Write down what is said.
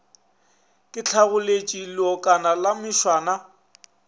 ke hlagoletše leokana la mešwana